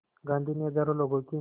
गांधी ने हज़ारों लोगों की